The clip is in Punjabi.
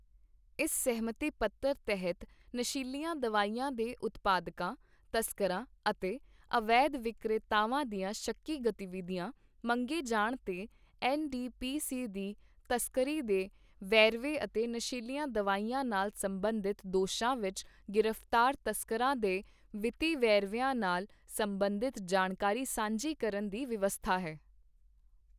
ਇਸ ਸਹਿਮਤੀ ਪੱਤਰ ਤਹਿਤ ਨਸ਼ੀਲੀਆਂ ਦਵਾਈਆਂ ਦੇ ਉਦਪਾਦਕਾਂ, ਤਸਕਰਾਂ ਅਤੇ ਅਵੈਧ ਵਿਕ੍ਰੇਤਾਵਾਂ ਦੀਆਂ ਸ਼ੱਕੀ ਗਤੀਵਿਧੀਆਂ, ਮੰਗੇ ਜਾਣ ਤੇ ਐੱਨ ਡੀ ਪੀ ਸੀ ਦੀ ਤਸਕਰੀ ਦੇ ਵੇਰਵੇ ਅਤੇ ਨਸ਼ੀਲੀਆਂ ਦਵਾਈਆਂ ਨਾਲ ਸਬੰਧਿਤ ਦੋਸ਼ਾਂ ਵਿੱਚ ਗ੍ਰਿਫਤਾਰ ਤਸਕਰਾਂ ਦੇ ਵਿੱਤੀ ਵੇਰਵਿਆਂ ਨਾਲ ਸਬੰਧਿਤ ਜਾਣਕਾਰੀ ਸਾਂਝੀ ਕਰਨ ਦੀ ਵਿਵਸਥਾ ਹੈ।